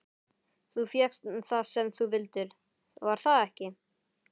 Þú fékkst það sem þú vildir, var það ekki?